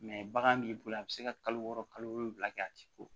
bagan b'i bolo a bɛ se ka kalo wɔɔrɔ kalo wolonwula kɛ a t'i ko